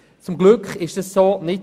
Zum Glück geschah dies nicht.